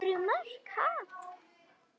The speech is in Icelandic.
Þrjú mörk, ha?